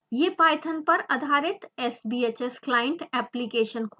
यह python पर आधारित sbhs client एप्लीकेशन खोलेगा